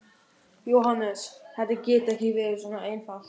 JÓHANNES: Þetta getur ekki verið svona einfalt?